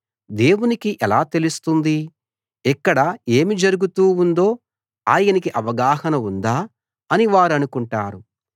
దేవునికి ఎలా తెలుస్తుంది ఇక్కడ ఏమి జరుగుతూ ఉందో ఆయనకి అవగాహన ఉందా అని వారనుకుంటారు